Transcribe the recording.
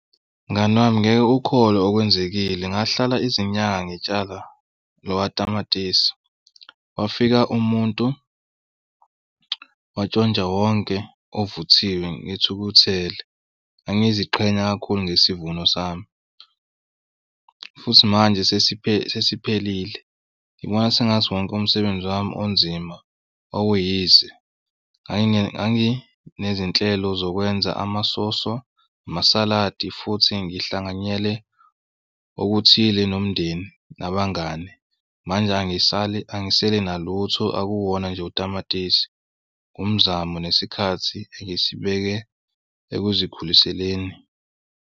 Mngani wami ngeke ukholwe okwenzekile ngahlala izinyanga ngitshala lowa tamatisi wafika umuntu watshontsha wonke ovuthiwe. Ngithukuthele ngangiziqhenya kakhulu ngesivuno sami futhi manje sesiphelile. Ngibona sengathi wonke umsebenzi wami onzima okuyize. Nganginezinhlelo zokwenza amasoso namasaladi futhi ngihlanganyele okuthile nomndeni nabangani. Manje angisale angisele nalutho, akuwona nje utamatisi ngumzamo nesikhathi engisibeke ekuzikhuliseni.